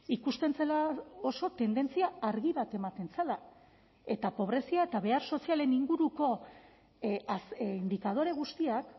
ikusten zela oso tendentzia argi bat ematen zela eta pobrezia eta behar sozialen inguruko indikadore guztiak